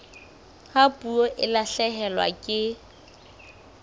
ha puo e lahlehelwa ke